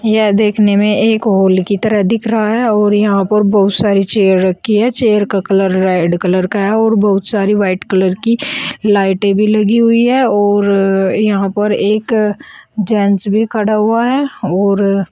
यह देखने में एक हॉल की तरह दिख रहा है और यहां पर बहुत सारी चेयर रखी है चेयर का कलर रेड कलर का है और बहुत सारी व्हाइट कलर की लाइटें भी लगी हुई है और यहां पर एक जेंट्स भी खड़ा हुआ है और--